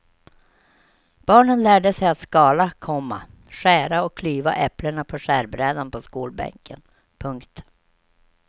Barnen lärde sig att skala, komma skära och klyva äpplena på skärbrädan på skolbänken. punkt